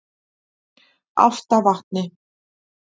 Álftavatni